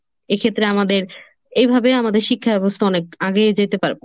এক্ষেত্রে আমাদের এইভাবে আমাদের শিক্ষা ব্যবস্থা অনেক আগেই যেতে পারবো।